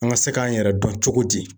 An ka se k'an yɛrɛ dɔn cogo di ?